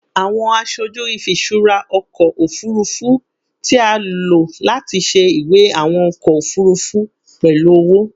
Awọn aṣoju ifiṣura ọkọ ofurufu ti a lo lati ṣe iwe awọn ọkọ ofurufu pẹlu ọwọ